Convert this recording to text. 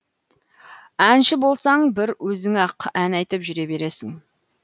әнші болсаң бір өзің ақ ән айтып жүре бересің